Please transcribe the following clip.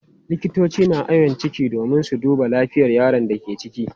Likitoci na awon ciki domin su duba lafiyar yaron da ke ciki.